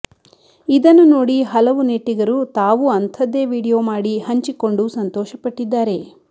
ಇದನ್ನು ನೋಡಿ ಹಲವು ನೆಟ್ಟಿಗರು ತಾವೂ ಅಂಥದ್ದೇ ವಿಡಿಯೊ ಮಾಡಿ ಹಂಚಿಕೊಂಡು ಸಂತೋಷಪಟ್ಟಿದ್ದಾರೆ